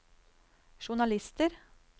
journalister